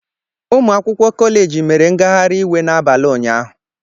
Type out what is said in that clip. Ụmụ akwụkwọ kọleji mere ngagharị iwe n'abalị ụnyahụ.